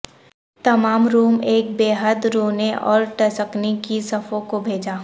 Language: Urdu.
تمام روم ایک بے حد رونے اور ٹسکنی کی صفوں کو بھیجا